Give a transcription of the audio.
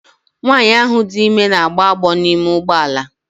Nwanyị ahụ dị ime na-agbọ agbọ n'ime ụgbọ ala.